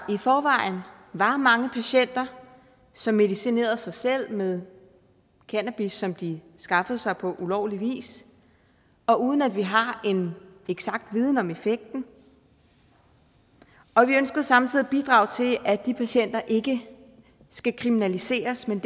i forvejen var mange patienter som medicinerede sig selv med cannabis som de skaffede sig på ulovlig vis og uden at vi har en eksakt viden om effekten og vi ønskede samtidig at bidrage til at de patienter ikke skal kriminaliseres men